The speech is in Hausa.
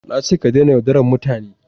Na ce ka dena yaudaran mutane!